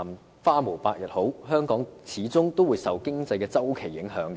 "花無百日好"，香港始終會受經濟周期影響。